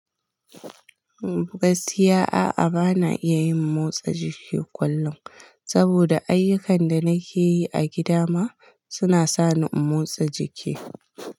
Gaskiya a'a bana iya yin motsa jiki kullum, saboda ayyukan da nake yi a gida ma suna sani in motsa jiki.